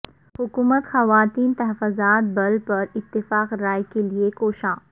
حکومت خواتین تحفظات بل پر اتفاق رائے کے لئے کوشاں